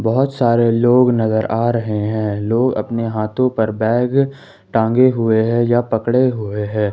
बहुत सारे लोग नजर आ रहे हैं लोग अपने हाथों पर बैग टांगे हुए हैं या पकड़े हुए हैं।